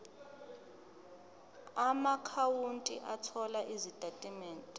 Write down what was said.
amaakhawunti othola izitatimende